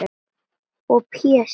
Og Pési